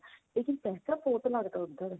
ਲੇਕਿਨ ਪੈਸਾ ਬਹੁਤ ਲੱਗਦਾ ਉੱਧਰ